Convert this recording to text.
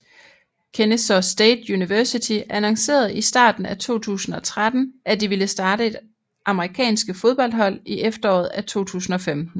Kennesaw State University annoncerede i starten af 2013 at de ville starte et amerikanske fodboldhold i efteråret af 2015